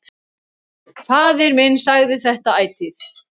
Faðir minn sagði þetta ætíð.